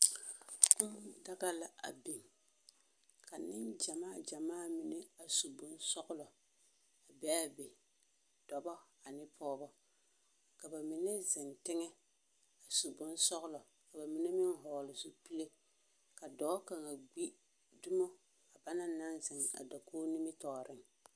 Kũũ daga la a biŋ, ka neŋgyamaa gyamaa mine a su bonsͻgelͻbee a be. Dͻbͻ ane pͻgebͻ. Ka ba mine zeŋ teŋԑ a su bonsͻgelͻ ka ba mine meŋ vͻgele zupile. Ka dͻͻ kaŋa gbi dumo a banaŋ naŋ zeŋ a dakogo nimitͻͻreŋ.